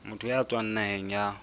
motho ya tswang naheng ya